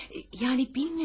Hayır, yəni bilmiyorum.